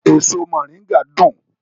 Èso moringa dùn